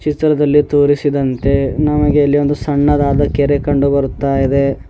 ಚಿತ್ರದಲ್ಲಿ ತೋರಿಸಿದಂತೆ ನಮಗೆ ಇಲ್ಲಿ ಒಂದು ಸಣ್ಣದಾದ ಕೆರೆ ಕಂಡು ಬರುತ್ತಾ ಇದೆ.